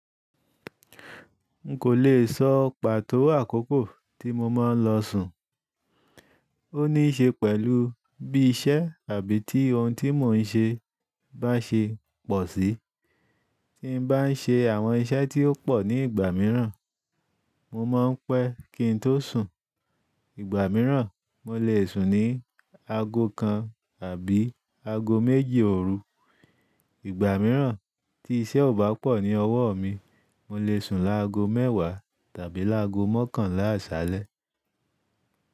N kò le sọ pàtó àkókò tí mo máa ń lọ sùn. Ó níí ṣe pẹ̀lú bí iṣẹ́ àbí ti ohun tí mò ń ṣe bá ṣe pọ̀ sí. Tí n bá ń ṣe àwọn iṣẹ́ tí ó pọ̀ ní ìgbà mìíràn, mo máa ń pẹ́ kí n tó sùn. Ìgbà mìíràn, mo lè sùn ní aago kan àbí aago méji òru. Ìgbà mìíràn tí iṣẹ́ ò bá pọ̀ ní ọwọ́ mi, mo lè sùn láago mẹ́wàá tàbí láago mọ́kànlá àṣálẹ́.